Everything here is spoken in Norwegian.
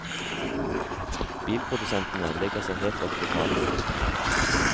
Bilprodusentene legger seg helt opp til kravene.